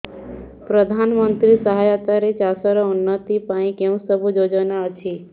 ପ୍ରଧାନମନ୍ତ୍ରୀ ସହାୟତା ରେ ଚାଷ ର ଉନ୍ନତି ପାଇଁ କେଉଁ ସବୁ ଯୋଜନା ଅଛି